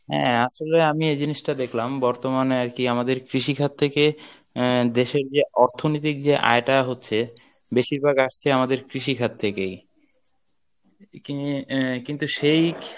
হ্যাঁ আসলে আমি এই জিনিসটা দেখলাম বর্তমানে আরকি আমাদের কৃষিখাত থেকে আহ দেশের যে অর্থনিতিক যে আয়টা হচ্ছে বেশিরভাগ আসছে আমাদের কৃষিখাত থেকেই এদিকে আহ কিন্তু সেই